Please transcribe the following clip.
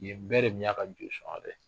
Nin bɛɛ de tun y'a ka